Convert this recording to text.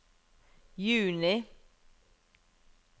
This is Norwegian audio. juni